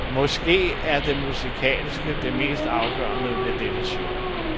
Måske er det musikalske det mest afgørende ved dette show.